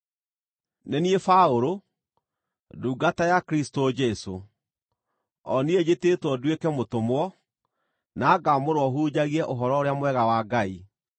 Nĩ niĩ Paũlũ, ndungata ya Kristũ Jesũ, o niĩ njĩtĩĩtwo nduĩke mũtũmwo, na ngaamũrwo hunjagie Ũhoro-ũrĩa-Mwega wa Ngai,